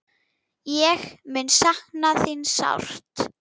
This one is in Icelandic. Ég mun sakna þín sárt.